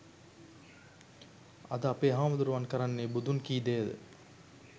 අද අපේ හාමුදුරුවන් කරන්නේ බුදුන් කී දෙයද?